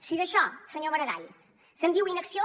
si d’això senyor maragall se’n diu inacció